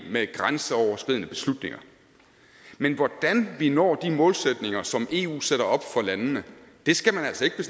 med grænseoverskridende beslutninger men hvordan vi når de målsætninger som eu sætter op for landene skal man altså ikke